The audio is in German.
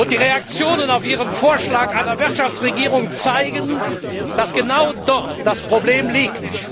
Die Reaktionen auf ihren Vorschlag einer Wirtschaftsregierung zeigen, dass genau dort das Problem liegt.